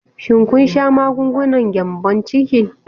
Shin kun sha magungunan gyambon ciki?